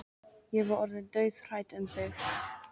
Ég var orðin dauðhrædd um þig,